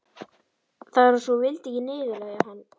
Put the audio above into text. Það var eins og hún vildi ekki niðurlægja hann.